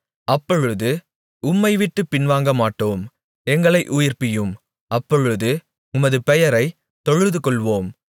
அப்பொழுது உம்மைவிட்டுப் பின்வாங்கமாட்டோம் எங்களை உயிர்ப்பியும் அப்பொழுது உமது பெயரைத் தொழுதுகொள்ளுவோம்